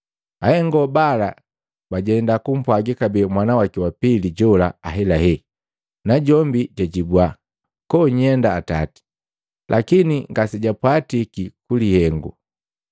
“Ahengo bala bajenda kumpwagi kabee mwana waki wa pili jola ahelahela, najombi jwajibwa, ‘Koonyenda atati.’ Lakini ngasejwapiti ku lihengo.”